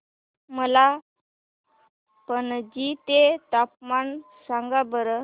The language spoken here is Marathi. मला पणजी चे तापमान सांगा बरं